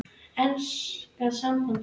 Enska sambandið?